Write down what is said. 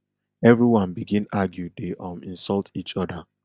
everyone begin argue dey um insult each oda